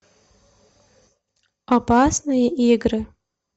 опасные игры